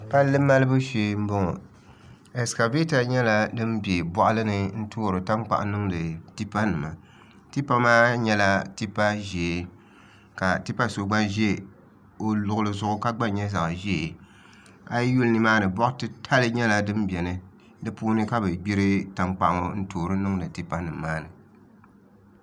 Palli malibu shee n boŋo ɛskavɛta nyɛla din bɛ boɣali ni n toori tankpaɣu niŋdi tipa nimatipa maa nyɛla tipa ʒiɛ ka tipa so gba ʒɛ o luɣuli zuɣu ka gba nyɛ zaɣ ʒiɛ a yi yuli nimaani boɣa titali nyɛla din biɛni di puuni ka bi gbiri tankpaɣu ŋo n toori niŋdi tipa nim maa ni